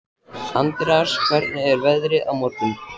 Andreas, hvernig er veðrið á morgun?